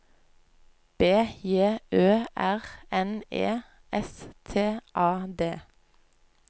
B J Ø R N E S T A D